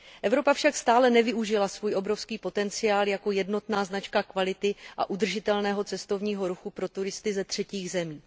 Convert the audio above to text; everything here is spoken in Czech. Evropa však stále nevyužila svůj obrovský potenciál jako jednotná značka kvality a udržitelného cestovního ruchu pro turisty ze třetích zemí.